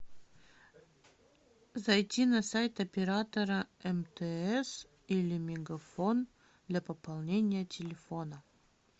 зайти на сайт оператора мтс или мегафон для пополнения телефона